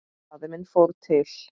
Faðir minn fór til